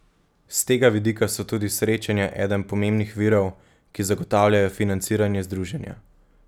S tega vidika so tudi srečanja eden pomembnih virov, ki zagotavljajo financiranje združenja.